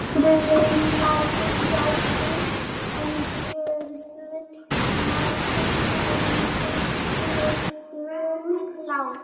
Frumglæði ljóssins, en gjörvöll mannkind meinvill í myrkrunum lá.